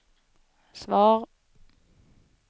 svar